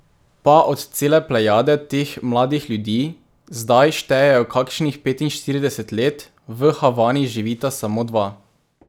Pa od cele plejade teh mladih ljudi, zdaj štejejo kakšnih petinštirideset let, v Havani živita samo dva.